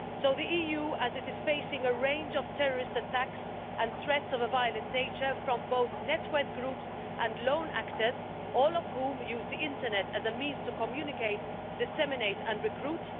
The EU is facing a range of terrorist attacks and threats of a violent nature from both network groups and lone actors, all of whom use the internet as a means to communicate, disseminate and recruit.